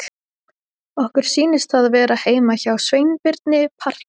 Okkur sýnist það vera heima hjá Sveinbirni parkett!